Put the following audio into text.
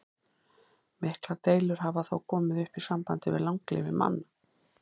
Miklar deilur hafa þó komið upp í sambandi við langlífi manna.